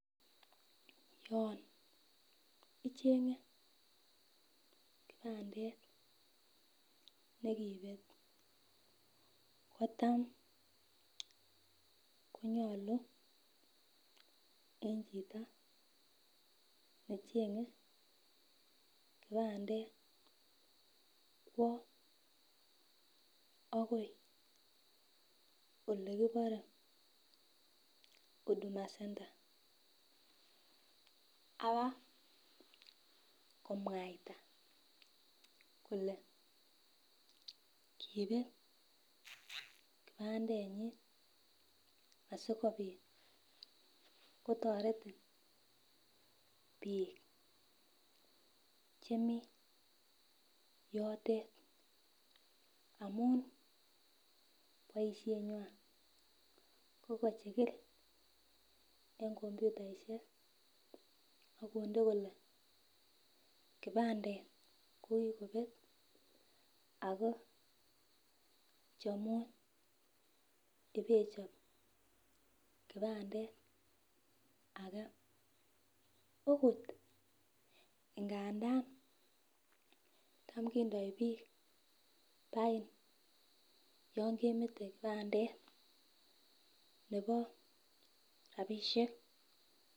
Yon ichenge kipandet nekibet kotam konyolu en chito nechenge kipandet kwo akoi olekibore Udhuma center abakokomwaita kole kinet kipendenyin asikopit kotoretin bik chemii yotet amun boishenywan ko kochikil en komputaihek ak konde kole kipandet ko kikobet Ako chomun ibechop kipandet age okot ingandan tam kondoik bik pain yon kemete kipandet nebo rabishek.